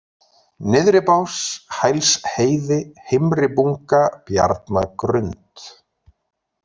Nyrðribás, Hælsheiði, Heimribunga, Bjarnagrund